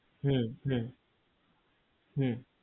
হু হু হু